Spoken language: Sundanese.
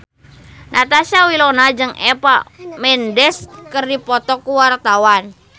Natasha Wilona jeung Eva Mendes keur dipoto ku wartawan